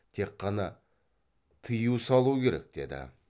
тек қана тыю салу керек деді